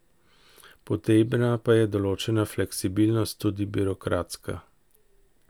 Potrebna pa je določena fleksibilnost, tudi birokratska.